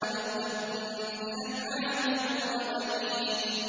أَمَدَّكُم بِأَنْعَامٍ وَبَنِينَ